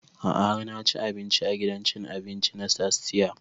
A'a har na ci abinci a gidan cin abinci na tastia